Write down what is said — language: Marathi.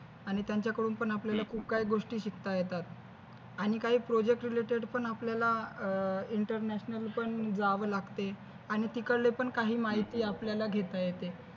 आणि त्यांच्याकडून पण आपल्याला खूप काही गोष्टी शिकता येतात आणि काही project related पण आपल्याला अह international पण जावे लागते आणि तिकडले पण काही माहिती आपल्याला घेता येते